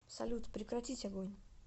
салют прекратить огонь